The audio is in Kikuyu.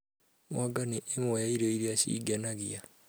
Mwanga nĩ ĩmwe ya irio iria cingenagia